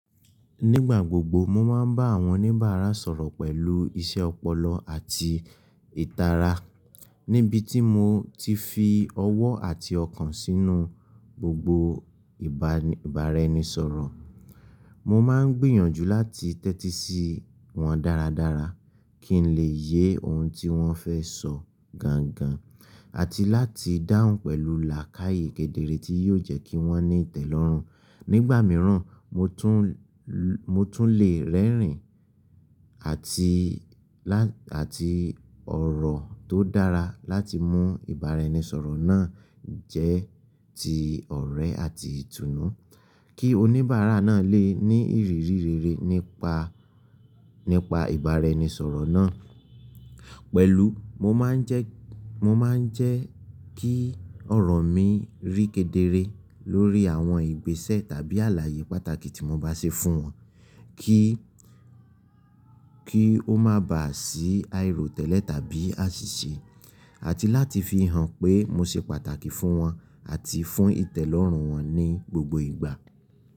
Nígbà gbogbo mo máa ń bá àwọn oníbàárà sọ̀rọ̀ pẹ̀lú iṣẹ́ ọpọlọ àti ìtara, níbi tí mo ti fi ọwọ́ àti ọkàn sínú gbogbo ìbáraẹnisọ̀rọ̀. Mo máa ń gbìyànjú láti tẹ́tí sí wọn dáradára kí n lè yé ohun tí wọ́n fẹ́ sọ gangan àti láti dáhùn pẹ̀lú làákàyè kedere tí yóò jẹ́ kí wọ́n ní ìtẹ́lọ́rùn. Nígbà mìíràn, mo tún lè rẹ́rìn-ín àti ọ̀rọ̀ tó dára láti mú ìbáraẹnisọ̀rọ̀ náà jẹ́ ti ọ̀rẹ́ àti ìtùnú kí oníbàárà náà lè ní ìrírí rere nípa ìbáraẹnisọ̀rọ̀ náà. Pẹ̀lú, mo máa ń jẹ́ kí ọ̀rọ̀ mi rí kedere lórí àwọn ìgbésẹ̀ tàbí àlàyé pàtàkì tí mo bá ṣe fún wọn kí ó máa ba à sí àìrótẹ́lẹ̀ tàbí àṣìṣe, àti láti fi hàn pé mo ṣe pàtàkì fún wọn àti fún ìtẹ́lọ́rùn wọn ní gbogbo ìgbà.